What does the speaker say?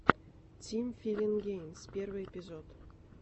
тим филин геймс первый эпизод